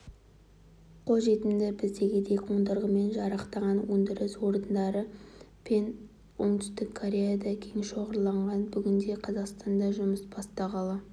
қолжетімді біздегідей қондырғымен жарақтаған өндіріс орындары пен оңтүстік кореяда кең шоғырланған бүгінде қазақстанда жұмысын бастағалы